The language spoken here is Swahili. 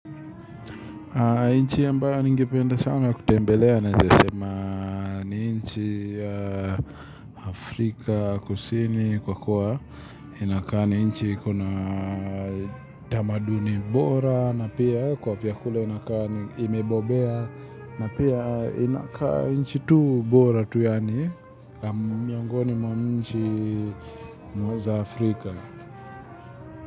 Nchi ya mbayo ningipenda sana kutembelea naeza sema ni nchi ya Afrika kusini kwa kuwa inakaa ni nchi kuna tamaduni bora na pia kwa viakula inakaa imebobea na pia inakaa ni nchi tu bora tu ani miongoni mwa nchi mweza Afrika.